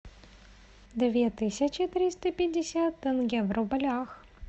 две тысячи триста пятьдесят тенге в рублях